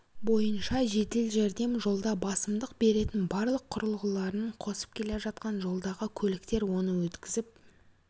бойынша жедел жәрдем жолда басымдық беретін барлық құрылғыларын қосып келе жатқан жолдағы көліктер оны өткізіп